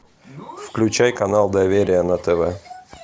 включай канал доверие на тв